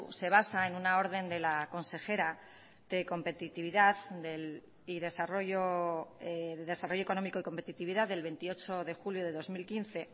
se basa en una orden de la consejera de desarrollo económico y competitividad del veintiocho de julio del dos mil quince